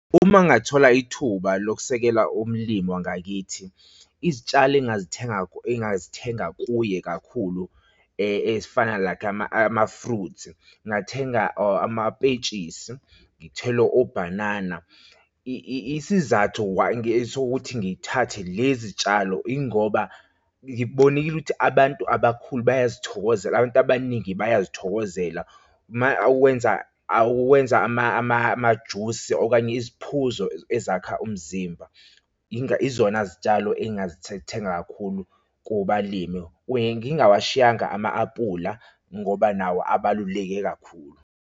Uma ngingathola ithuba lokusekela umlimi wangakithi, izitshalo engazithenga, engazithenga kuye kakhulu ezifana like ama-fruits ngingathenga amapetshisi, ngithele obhanana. Isizathu sokuthi ngithathe lezi tshalo yingoba ngibonile ukuthi abantu abakhulu bayasithokozela abantu abaningi bayasithokozela uma okwenza akwuwenza amajusi okanye iziphuzo ezakha umzimba yizona zitshalo engingazithethenga kakhulu kubalimi kuye, ngingawashi iyanga ama-apula ngoba nawo abaluleke kakhulu.